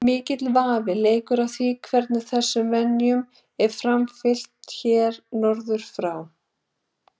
mikill vafi leikur á því hvernig þessum venjum var framfylgt hér norður frá